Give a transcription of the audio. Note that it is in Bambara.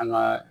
An ka